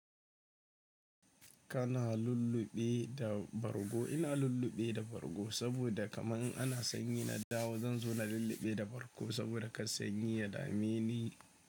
Kana lullube da bargo? Ina lulluɓe da bargo saboda kaman in ana sanyi na dawo zan zo na lulluɓe da bargo saboda ka sanyi ya dame ni.